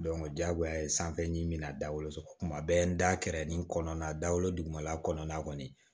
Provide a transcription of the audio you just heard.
diyagoya ye sanfɛ ɲɛ min bɛna dawoloso kuma bɛɛ n da kɛrɛ nin kɔnɔna na dawolo dugumala kɔnɔna kɔni